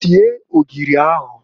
Sie ogiri ahụǃ